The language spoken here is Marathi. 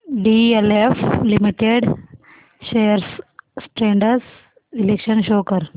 डीएलएफ लिमिटेड शेअर्स ट्रेंड्स चे विश्लेषण शो कर